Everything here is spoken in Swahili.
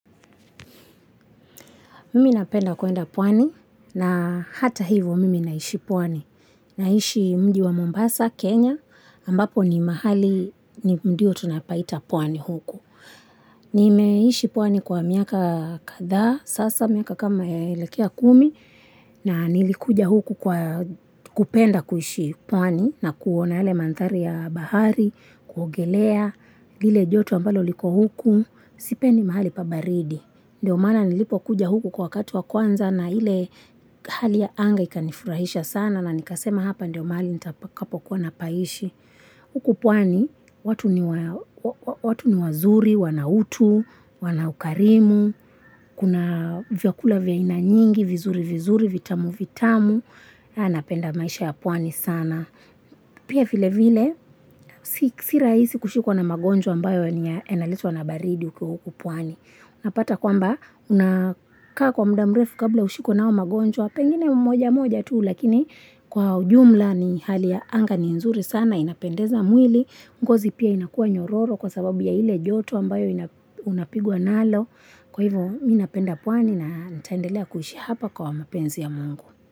Mimi napenda kuenda pwani na hata hivyo mimi naishi pwani. Naishi mji wa Mombasa, Kenya, ambapo ni mahali ni mdiyo tunapaita pwani huku. Nimeishi pwani kwa miaka kadhaa, sasa miaka kama imeelekea kumi, na nilikuja huku kupenda kuishi pwani na kuona yale mandhari ya bahari, kuogelea, lile joto ambalo liko huku, sipendi mahali pa baridi. Ndiyo mana nilipo kuja huku kwa wakatu wa kwanza na ile hali ya anga ikanifurahisha sana na nikasema hapa ndiyo mahali nitakapo kuwa na paishi. Huku pwani, watu ni wazuri, wanautu, wanaukarimu, kuna vyakula vya aina nyingi, vizuri vizuri, vitamu vitamu, na napenda maisha ya pwani sana. Pia vile vile, si rahisi kushikwa na magonjwa ambayo yanaletwa na baridi ukiwa huku pwani. Napata kwamba unakaa kwa muda mrefu kabla ushikwe na hayo magonjwa. Pengine mmoja mmoja tu lakini kwa ujumla ni hali ya anga ni nzuri sana, inapendeza mwili, ngozi pia inakuwa nyororo kwa sababu ya ile joto ambayo unapigwa nalo kwa hivyo mimi napenda pwani na nitaendelea kuishi hapa kwa mapenzi ya mungu.